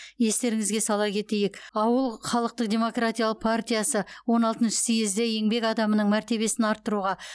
естеріңізге сала кетейік ауыл халықтық демократиялы партиясы он алтыншы съезде еңбек адамының мәртебесін арттыруға